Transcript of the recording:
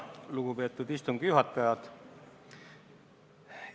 Lugupeetud istungi juhataja!